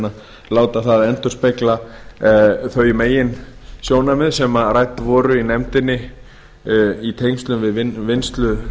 að láta það endurspegla þau meginsjónarmið sem rædd voru í nefndinni í tengslum við vinnslu